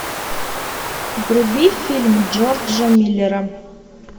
вруби фильм джорджа миллера